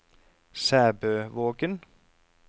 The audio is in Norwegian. Sæbøvågen